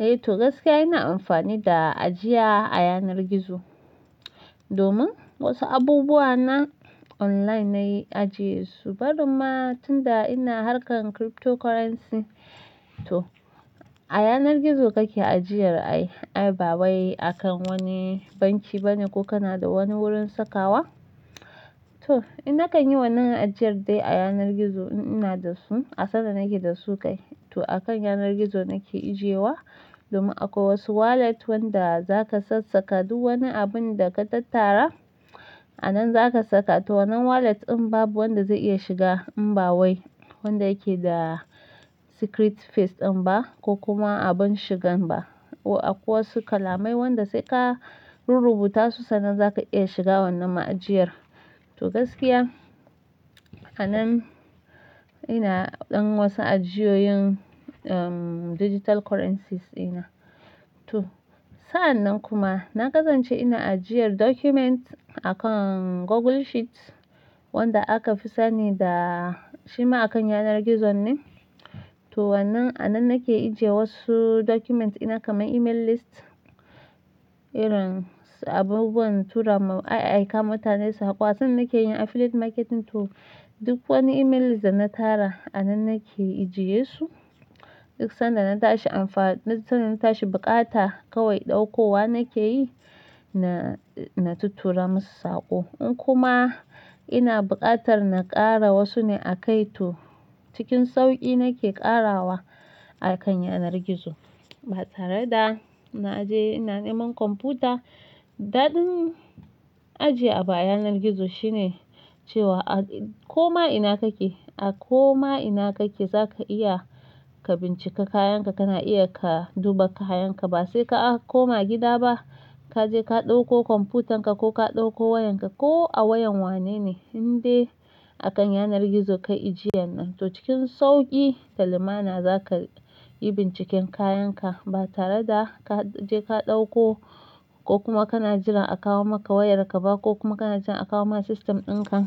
Eh to gaskiya ina amfani da ajiya a yanar gizo domin wasu abubuwa na online nayi ajiye su. Barin ma tunda ina harkan cryptocurrency to a yanar gizo kake ajiyar ai. Ai ba wai akan wani banki bane ko kana da wani wurin sakawa. To in nakayi wannan ajiyar dai a yanar gizo in ina da su. A sanda nake da su kai to a kan yanar gizo nake ijewa domin akwai wasu wallet wanda zaka sassaka duk wani abun da ka tattara a nan zaka saka. To wannan wallet in babu wanda zai iya shiga in ba wai wanda yake da secret phase din ba ko kuma abun shigan ba. Ko akwai wasu kalamai wanda sai ka rurrubuta su sannan zaka iya shiga wannan ma'ajiyar. To gaskiya a nan ina ɗan wasu ajiyoyin, um, digital currencies ina. To sa'anan kuma na gazanci ina ajiyar document akan Google Sheets wanda aka fi sani da shi ma akan yanar gizon ne. To wannan a nan nake aijiye wasu documents ina kamar email list, irin abubuwan tura ma ai, aika mutane su haƙwa. Sannan nake yin affiliate marketing to duk wani email list da na tara a nan nake ijiyesu. Duk sanda na tashi anfa-- duk sanda na tashi bukata kawai ɗaukowa nake yi na, na tatura masu saƙo. In kuma ina buƙatar na ƙara wasu ne a kai to cikin sauƙi nake ƙarawa akan yanar gizo. Ba tare da na je ina neman kwamfuta. Daɗin ajiye abu a yanar gizo shine cewa a koma ina kake, a koma ina kake zaka iya ka bincika kayanka, kana iya ka duba kayanka ba sai ka a koma gida ba. Ka je ka ɗauko kwamfutan ka ko ka ɗauko wayan ka ko a wayan wanene inde akan yanar gizo ka ajiyen. To cikin sauƙi salama na zaka yi binciken kayanka ba tare da ka je ka ɗauko ko kuma kana jiran a kawo maka wayarka ba ko kuma kana jiran a kawo maka system ɗin ka.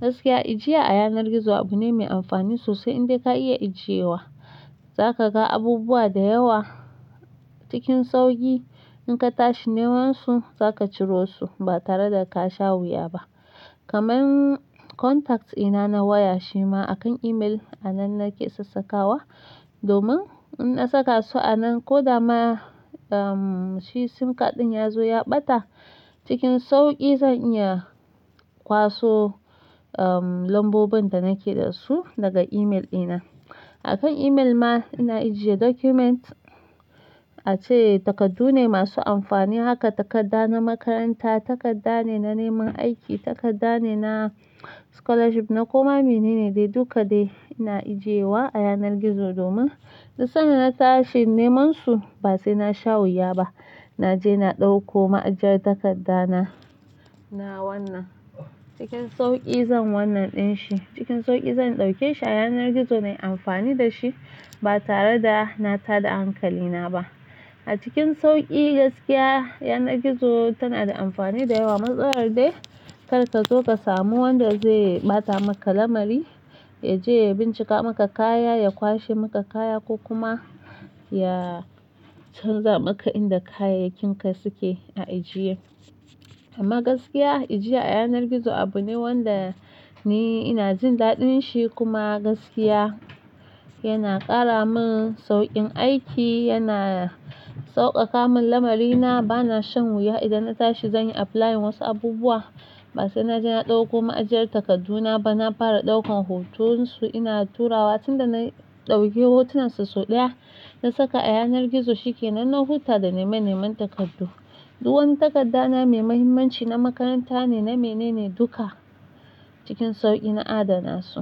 Gaskiya ijiya a yanar gizo abu ne mai amfani sosai indai ka iya ijiyewa za ka ga abubuwa da yawa cikin sauƙi. In ka tashi neman su za ka ciro su ba tare da ka sha wuya ba. Kaman contacts ina na waya shi ma akan email a nan nake sassakawa domin in na saka su a nan ko da ma, um, shi sim card ɗin ya zo ya ɓata cikin sauƙi zan iya kwaso, um, lambobin da nake da su daga email ina. Akan email ma ina ijiye document ace takardu ne masu amfani haka takarda na makaranta, takarda ne na neman aiki, takarda ne na scholarship na koma mene ne dai duka dai ina ajiyewa a yanar gizo domin duk sanda na tashi neman su ba sai na sha wuya ba. Na je na ɗauko ma'ajiyar takarda na, na wannan cikin sauƙi zan wannan ɗin shi cikin sauƙi zan ɗauke shi a yanar gizo nayi amfani da shi ba tare da na tada hankalina ba. A cikin sauƙi gaskiya yanar gizo tana da amfani da yawa. Matsalar dai kar ka zo ka samu wanda zai ɓata maka lamari ya je ya bincika maka kaya, ya kwashe maka kaya ko kuma ya canza maka inda kayayyakin ka suke a ajiye. Amma gaskiya ijiiya a yanar gizo abu ne wanda ni ina jin daɗin shi kuma gaskiya yana ƙara min sauƙin aiki, yana sauƙaƙa min lamari. Na bana shan wuya idan na tashi zan yi applying wasu abubuwa ba sai na je na ɗauko ma'ajiyar takarduna ba. Na fara ɗaukan hotonsu ina turawa tunda na ɗauke hotunan su sau ɗaya na saka a yanar gizo shike. Nan na huta da nema neman takardu. Duk wani takarda na mai muhimmanci na makaranta ne, na mene ne duka cikin sauƙi na adana su.